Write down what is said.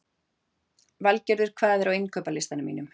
Valgerður, hvað er á innkaupalistanum mínum?